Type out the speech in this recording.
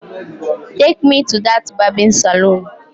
Take me to that barbing salon